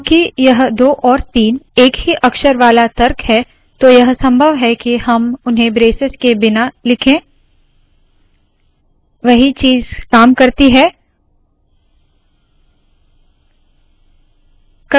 क्योंकि यह 2 और 3 एक ही अक्षर वाला तर्क है तो यह संभव है के हम उन्हें ब्रेसेस के बिना लिखे वही चीज़ काम करती है